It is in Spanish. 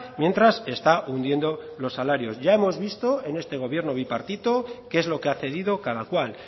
mientras está hundiendo los salarios ya hemos visto en este gobierno bipartito qué es lo que ha cedido cada cual